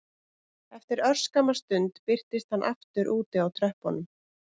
Eftir örskamma stund birtist hann aftur úti á tröppunum